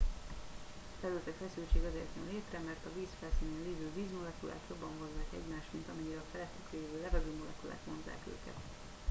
felületi feszültség azért jön létre mert a víz felszínén lévő vízmolekulák jobban vonzzák egymást mint amennyire a felettük lévő levegőmolekulák vonzzák őket